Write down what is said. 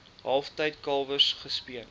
kalftyd kalwers gespeen